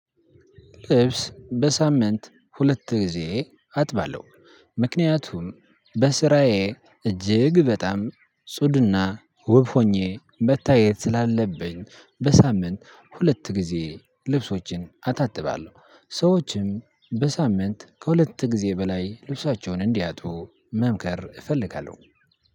ልብስ በሳምንት ሁለት ጊዜ አጥባለሁ። ምክንያቱም በስራዬ እጅግ በጣም ጽዱና ውብ ሆኜ መታየት ስላለብኝ በሳምንት ሁለት ጊዜ ልብሶችን አጣጥባለሁ። ሰዎችም በሳምንት ከሁለት ጊዜ በላይ ልብሳቸውን እንዲያጥቡ መምከር እፈልጋለሁ።